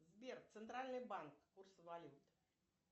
сбер центральный банк курсы валют